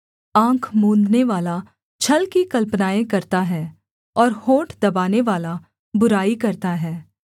आँख मूँदनेवाला छल की कल्पनाएँ करता है और होंठ दबानेवाला बुराई करता है